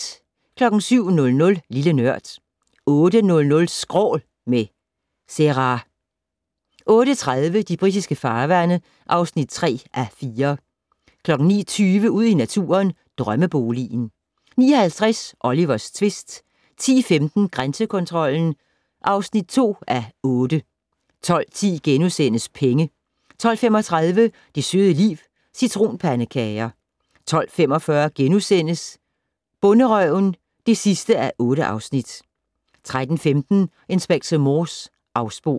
07:00: Lille Nørd 08:00: Skrål - med Zerah 08:30: De britiske farvande (3:4) 09:20: Ud i naturen: Drømmeboligen 09:50: Olivers tvist 10:15: Grænsekontrollen (2:8) 12:10: Penge * 12:35: Det søde liv - Citronpandekager 12:45: Bonderøven (8:8)* 13:15: Inspector Morse: Afsporet